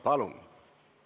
Palun!